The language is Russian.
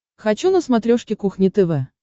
хочу на смотрешке кухня тв